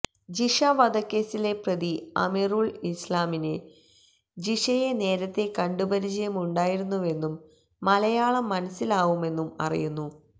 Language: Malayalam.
ജിഷ വധക്കേസിലെ പ്രതി അമീറുല് ഇസ്ലാമിന് ജിഷയെ നേരത്തേ കണ്ടുപരിചയമുണ്ടായിരുന്നുവെന്നും മലയാളം മനസ്സിലാവുമെന്നും അറിയുന്നു